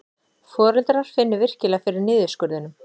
Foreldrar finni virkilega fyrir niðurskurðinum